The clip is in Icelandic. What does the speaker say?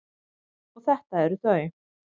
Og þetta eru þau.